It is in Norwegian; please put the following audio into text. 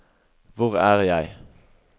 hvor er jeg